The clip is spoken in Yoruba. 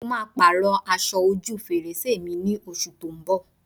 Mo máa Pààrọ̀ aṣọ ojú fèrèsé mi ní oṣù tó ń bọ̀